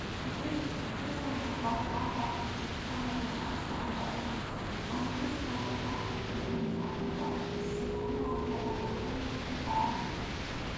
today di situation na about one thousand, six hundred naira to one dollar and dis na beta improvement from february dis year wen one dollar na almost ntwo thousand